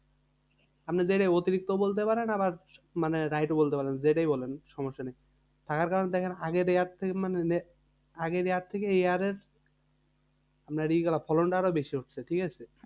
আপনি যেটাই অতিরিক্ত বলতে পারেন আবার মানে wright ও বলতে পারেন যেটাই বলেন সমস্যা নেই। থাকার কারণ দেখেন আগের year থেকে মানে আগের year থেকে এই year এ আপনার ই গুলা ফলনটা আরও বেশি হচ্ছে। ঠিকাছে?